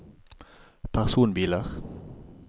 personbiler